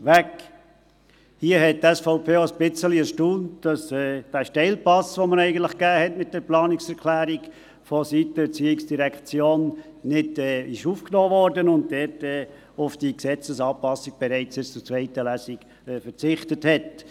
Hier hat die SVP ein wenig erstaunt, dass die ERZ den Steilpass, den man ihr mit der Planungserklärung eigentlich gab, nicht aufgenommen und auf die Gesetzesanpassung bereits bis zur zweiten Lesung verzichtet hat.